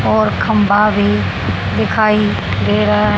और खंभा भी दिखाई दे रहा है।